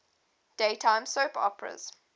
daytime soap operas